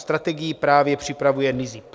Strategii právě připravuje NIZP.